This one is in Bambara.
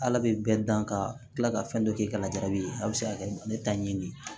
Ala bɛ bɛɛ dan ka tila ka fɛn dɔ k'i ka labila a bɛ se ka kɛ ne ta ɲini de ye